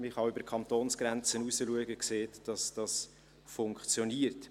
Man kann auch über die Kantonsgrenzen hinausschauen und sieht, dass es funktioniert.